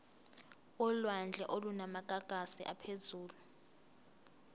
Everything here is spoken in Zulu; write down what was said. olwandle olunamagagasi aphezulu